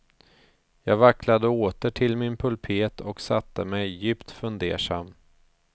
Jag vacklade åter till min pulpet och satte mig, djupt fundersam.